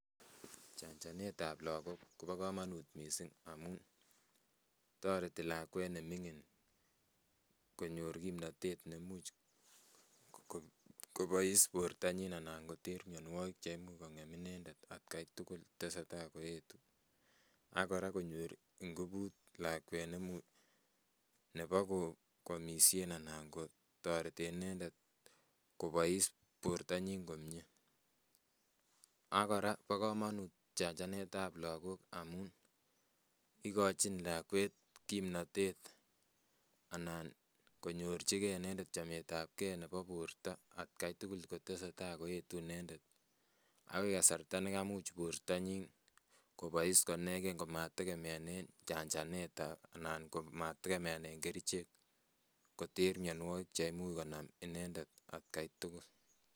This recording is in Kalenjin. Chanjanetab lagok kobo komonut missing amun toreti lakwet neming'in konyor kipnotet neimuch kobois bortanyin anan koter mianwogik che imuch kong'em inendet atkai tugul tesetai koetu, ak kora konyor ngubut lakwet nemuch ne bo kwomishen ana kotoreten inendet kobois bortanyin komie ak kora bo komonut chanjanetab lagok amun ikojin lakwet kipnotet anan konorchike inendet chametab gee ne bo borto at kai tugul kotesetai koetu inendet akoi kasarta nekamuch bortanyin kobois koneken komategemeane chanjanetab anan ko mategemeanen kerichek koter mianwogiik cheimuch konam inendet at kai tugul.